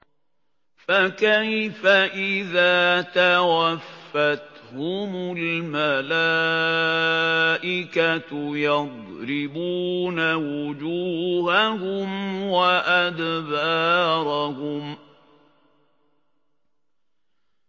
فَكَيْفَ إِذَا تَوَفَّتْهُمُ الْمَلَائِكَةُ يَضْرِبُونَ وُجُوهَهُمْ وَأَدْبَارَهُمْ